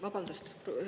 Vabandust!